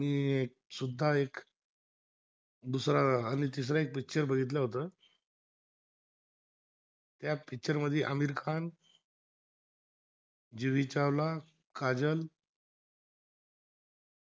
दुसरा आणि तिसरा एक पिक्चर बघितला होता त्या पिक्चर मध्ये आमिर खा जुई चावला काजल